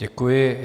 Děkuji.